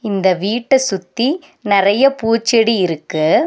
இந்த வீட்ட சுத்தி நெறைய பூச்செடி இருக்கு.